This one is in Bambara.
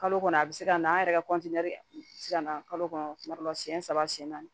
Kalo kɔnɔ a bɛ se ka na an yɛrɛ ka bɛ se ka na kalo kɔnɔ kuma dɔ la siɲɛ saba siyɛn naani